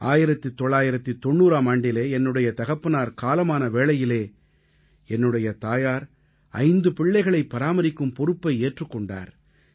1990ஆம் ஆண்டிலே என்னுடைய தகப்பனார் காலமான வேளையிலே என்னுடைய தாயார் ஐந்து பிள்ளைகளை பராமரிக்கும் பொற்ப்பை ஏற்றுக் கொண்டார்